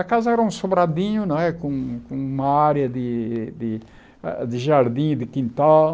A casa era um sobradinho não é, com com uma área de de ah de jardim, de quintal.